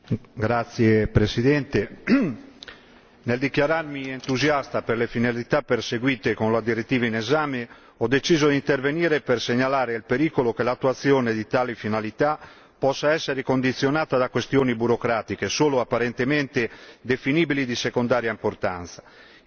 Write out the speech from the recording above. Signor Presidente, nel dichiararmi entusiasta per le finalità perseguite con la direttiva in esame, ho deciso di intervenire per segnalare il pericolo che l'attuazione di tali finalità possa essere condizionata da questioni burocratiche, solo apparentemente definibili di secondaria importanza.